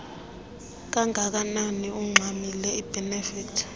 kanganani ungxamile iibhenefithi